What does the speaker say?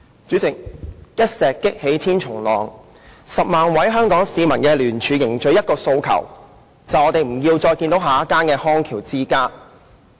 主席，一石激起千重浪 ，10 萬位香港市民的聯署凝聚了一個訴求，就是我們不要再看到下一間康橋之家。